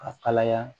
Ka kalaya